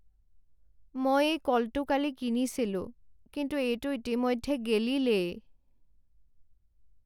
মই এই কলটো কালি কিনিছিলোঁ কিন্তু এইটো ইতিমধ্যে গেলিলেই।